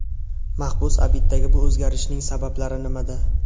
Mahbus adibdagi bu o‘zgarishning sabablari nimada?